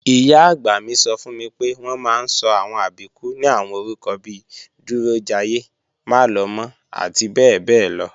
Ìyá-àgbà mi sọ fún mi pé, wọ́n máa ń sọ àwọn Àbíkú ní àwọn orúkọ bi Dúrójayé, Málọmọ́ àti bẹ́ẹ̀bẹ́ẹ́lọ